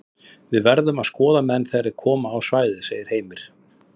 Við verðum að skoða menn þegar þeir koma á svæðið segir Heimir.